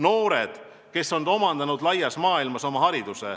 Noored, kes on hariduse omandanud laias maailmas.